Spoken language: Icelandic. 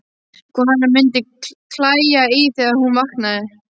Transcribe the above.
Hvað hana mundi klæja í þau þegar hún vaknaði!